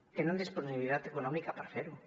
tenen disponibilitat econòmica per fer ho